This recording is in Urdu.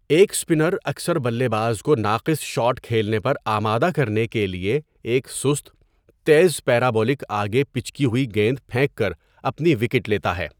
ایک اسپنر اکثر بلے باز کو ناقص شاٹ کھیلنے پر آمادہ کرنے کے لیے ایک سست، تیز پیرابولک 'آگے پچکی ہوئی' گیند پھینک کر اپنی وکٹ لیتا ہے۔